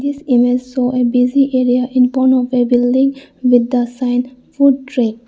this image show a busy area in fron of a building with the sign food track.